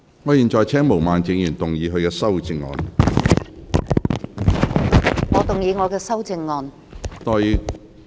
我現在請毛孟靜議員動議修正案。